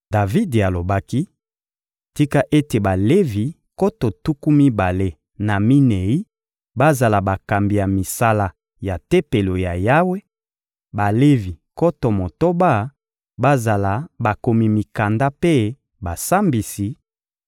Davidi alobaki: «Tika ete Balevi nkoto tuku mibale na minei bazala bakambi ya misala ya Tempelo ya Yawe, Balevi nkoto motoba bazala bakomi mikanda mpe basambisi,